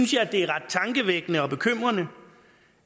det er ret tankevækkende og bekymrende